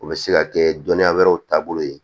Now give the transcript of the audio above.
O bɛ se ka kɛ dɔnniya wɛrɛw taabolo ye